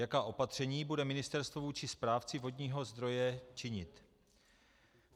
Jaká opatření bude ministerstvo vůči správci vodního zdroje činit?